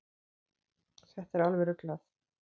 Þetta er alveg ruglað.